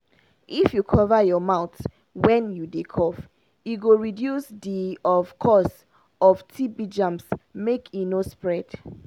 if you cover your mouth wen you dey cough he go reduce the of cause of tb germs make e no spread